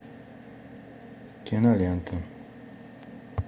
кинолента